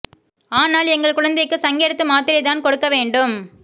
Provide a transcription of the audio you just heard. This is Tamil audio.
ஆனால் எங்கள் குழந்தைக்கு சங்கெடுத்து மாத்திரை தான் கொடுக்க வேண்டும்